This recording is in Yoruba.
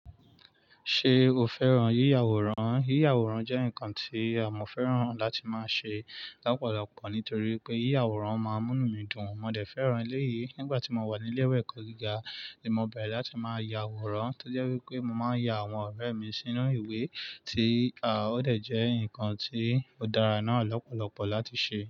Ṣé o fẹ́ràn yíya àwòrán? Yíya àwòrán jẹ́ nǹkan tí mo fẹ́ràn láti máa ṣe lọ́pọ̀lọpọ̀ nítorí pé yíya àwòrán máa ń mú inu dùn. Mo dẹ̀ fẹ́ràn eléyìí. Nígbà tí mo wà ní ilé-ẹ̀kọ́ gíga ni mo bẹ̀rẹ̀ láti máa ya àwòrán. To jẹ wipé mo máa ń ya àwọn ọ̀rẹ́ mi sínú ìwé tí a, ó dẹ̀ jẹ́ nǹkan tí ó dára náà lọ́pọ̀lọpọ̀ láti ṣe.